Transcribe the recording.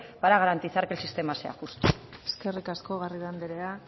para garantizar que el sistema sea justo eskerrik asko garrido anderea